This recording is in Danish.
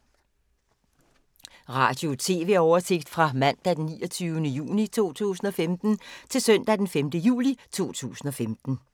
Radio/TV oversigt fra mandag d. 29. juni 2015 til søndag d. 5. juli 2015